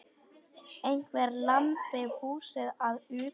Einhver lamdi húsið að utan.